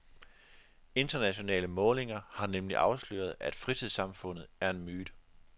Internationale målinger har nemlig afsløret, at fritidssamfundet er en myte.